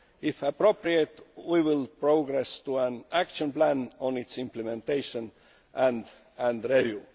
If appropriate, we will progress to an action plan on its implementation and review.